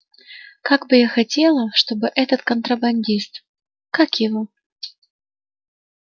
как бы я хотела чтобы этот контрабандист как его